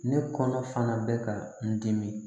Ne kɔnɔ fana bɛ ka n dimi